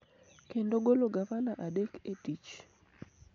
kendo golo gavana adek e tich,